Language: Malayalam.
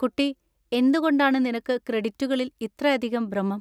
കുട്ടി, എന്തുകൊണ്ടാണ് നിനക്ക് ക്രെഡിറ്റുകളിൽ ഇത്രയധികം ഭ്രമം?